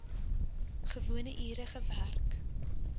gewone ure gewerk